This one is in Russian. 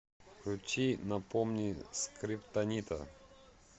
включи напомни скриптонита